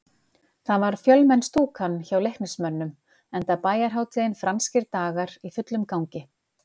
Það var fjölmenn stúkan hjá Leiknismönnum, enda bæjarhátíðin Franskir dagar í fullum gangi.